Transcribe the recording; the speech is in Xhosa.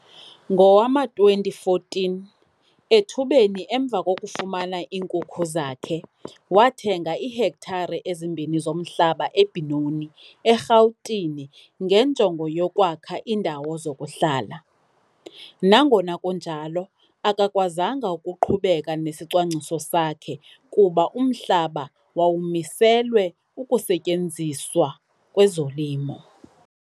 Ngowama-2014, ethubeni emva kokufumana iinkukhu zakhe, wathenga iihektare ezimbini zomhlaba eBenoni, eRhawutini, ngenjongo yokwakha iindawo zokuhlala. Nangona kunjalo, akakwazanga ukuqhubeka nesicwangciso sakhe kuba umhlaba wawumiselwe ukusetyenziswa kwezolimo.